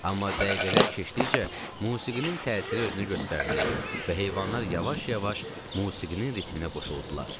Amma dəqiqələr keçdikcə musiqinin təsiri özünü göstərdi və heyvanlar yavaş-yavaş musiqinin ritminə qoşuldular.